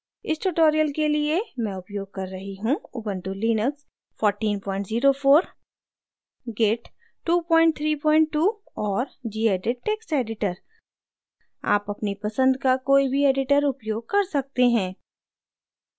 इस tutorial के लिए मैं उपयोग कर रही हूँ: